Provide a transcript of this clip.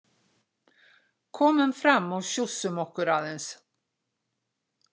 Komum fram og sjússum okkur aðeins.